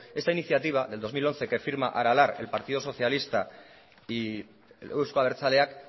esta iniciativa del dos mil once que firma aralar el partido socialista y eusko abertzaleak